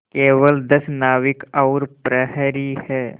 केवल दस नाविक और प्रहरी है